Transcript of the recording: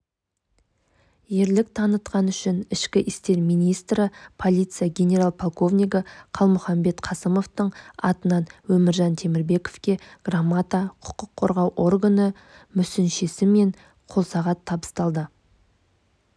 ерлік танытқан үшін ішкі істер министрі полиция генерал-полковнигі калмұхамбет қасымовтың атынан өміржан темірбековке грамота құқық қорғау органы мүсіншесі мен қолсағат табысталды